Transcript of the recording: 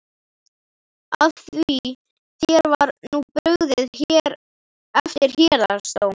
Af því þér var nú brugðið eftir héraðsdóm?